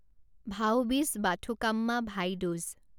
ভাও বীজ বাথুকাম্মা ভাই দুজ